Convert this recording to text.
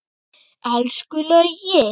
Elsku Laugi.